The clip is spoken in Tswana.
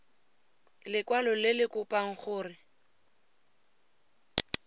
lekwalo le le kopang gore